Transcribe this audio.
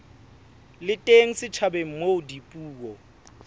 le teng setjhabeng moo dipuo